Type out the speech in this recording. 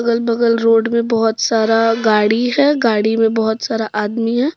अगल बगल रोड में बहुत सारा गाड़ी है। गाड़ी में बहुत सारा आदमी है।